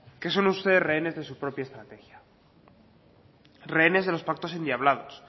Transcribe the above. que son ustedes rehenes de sus propia estrategia rehenes de los pactos endiablados